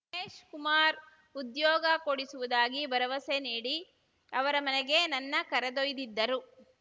ಮಹೇಶ್‌ ಕುಮಾರ್‌ ಉದ್ಯೋಗ ಕೊಡಿಸುವುದಾಗಿ ಭರವಸೆ ನೀಡಿ ಅವರ ಮನೆಗೆ ನನ್ನ ಕರೆದೊಯ್ದಿದ್ದರು